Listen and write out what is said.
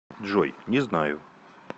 джой не знаю